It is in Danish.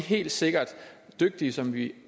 helt sikkert dygtige som vi